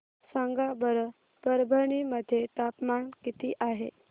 सांगा बरं परभणी मध्ये तापमान किती आहे